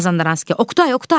Mazandaranski: Oqtay, Oqtay!